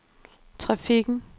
trafikken